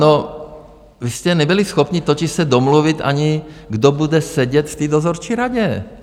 No, vy jste nebyli schopni totiž se domluvit ani, kdo bude sedět v té dozorčí radě.